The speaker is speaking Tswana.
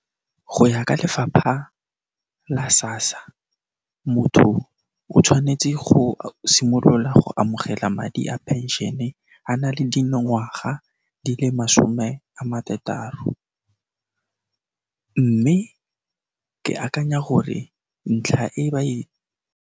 Go ya ka lefapha la SASSA, motho o tshwanetse go simolola go amogela madi a pension-e, a na le dingwaga di le masome a marataro, mme ke akanya gore ntlha e ba e.